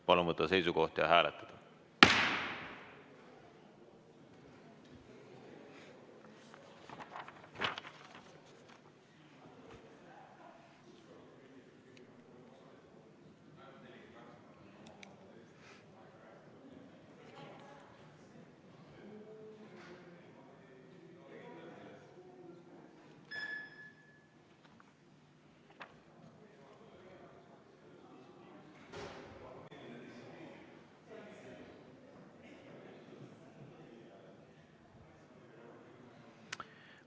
Palun võtta seisukoht ja hääletada!